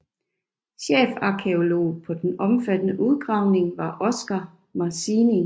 Chefarkæolog på den omfattende udgravning var Oscar Marceen